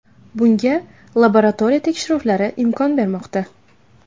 Bunga laboratoriya tekshiruvlari imkon bermoqda.